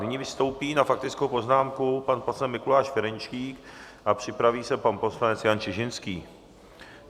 Nyní vystoupí na faktickou poznámku pan poslanec Mikuláš Ferjenčík a připraví se pan poslanec Jan Čižinský.